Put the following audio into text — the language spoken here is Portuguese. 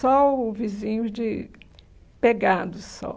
Só o vizinho de pegado só.